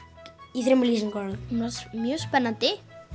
í þremur lýsingarorðum hún var mjög spennandi